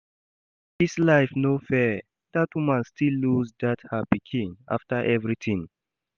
Dis life no fair, dat woman still lose that her pikin after everything